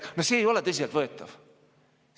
See ei ole tõsiselt võetav.